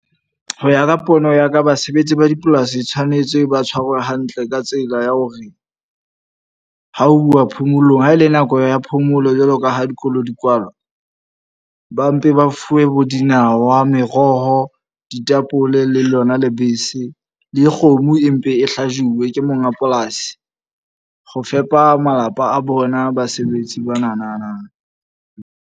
Ho ya ka pono ya ka, basebetsi ba dipolasi tshwanetse ba tshwarwe hantle ka tsela ya hore, ho uwa phomolong. Ha ele nako ya phomolo jwalo ka ha dikolo di kwalwa. Ba mpe ba fuwe bo dinawa, meroho, ditapole le lona lebese. Le kgomo e mpe e hlajuwe ke monga polasi, ho fepa malapa a bona basebetsi ba nanana.